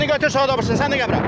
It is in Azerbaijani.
Birini götür, sonra da o birisini.